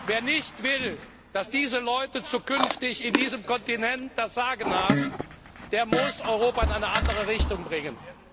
Wer nicht will, dass diese Leute zukünftig auf diesem Kontinent das Sagen haben, der muss Europa in eine andere Richtung bringen.